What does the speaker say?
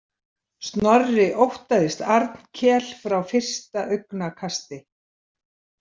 Snorri óttaðist Arnkel frá fyrsta augnakasti.